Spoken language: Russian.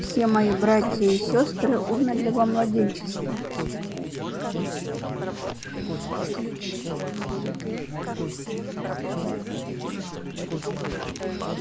все мои братья и сёстры умерли во младенчестве